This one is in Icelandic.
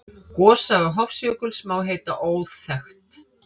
Gossaga Hofsjökuls má heita óþekkt.